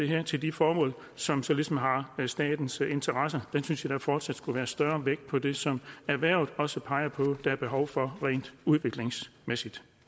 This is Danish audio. hen til de formål som så ligesom har statens interesse jeg synes at der fortsat skulle være større vægt på det som erhvervet også peger på at der er behov for rent udviklingsmæssigt